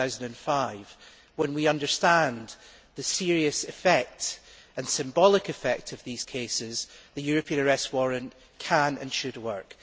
2005. When we understand the serious and symbolic effect of these cases, the European Arrest Warrant can and should work.